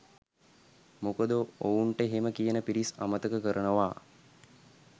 මොකද ඔවුන්ට එහෙම කියන පිරිස් අමතක කරනවා